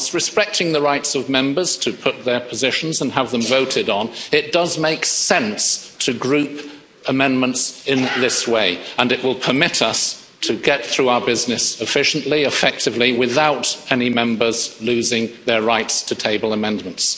Whilst respecting the rights of Members to put their positions and have them voted on, it does make sense to group amendments in this way and it will permit us to get through our business efficiently, effectively, without any Members losing their rights to table amendments.